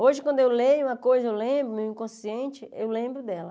Hoje, quando eu leio uma coisa, eu lembro, meu inconsciente, eu lembro dela.